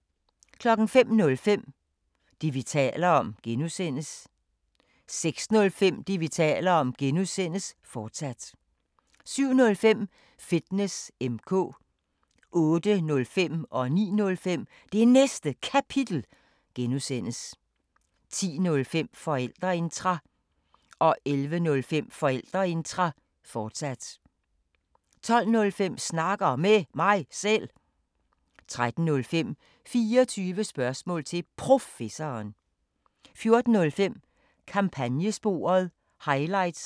05:05: Det, vi taler om (G) 06:05: Det, vi taler om (G), fortsat 07:05: Fitness M/K 08:05: Det Næste Kapitel (G) 09:05: Det Næste Kapitel (G) 10:05: Forældreintra 11:05: Forældreintra, fortsat 12:05: Snakker Med Mig Selv 13:05: 24 spørgsmål til Professoren 14:05: Kampagnesporet – highlights